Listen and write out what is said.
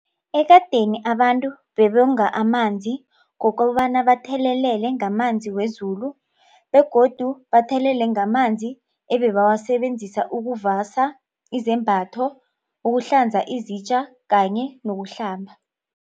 Ekadeni abantu bebonga amanzi ngokobana bathelelele ngamanzi wezulu begodu bathelele ngamanzi ebebawasebenzisa ukuvasa izembatho, ukuhlanza izitja kanye nokuhlamba.